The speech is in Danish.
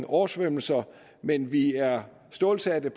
oversvømmelser men vi er stålsatte